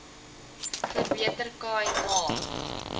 verbeter khai ma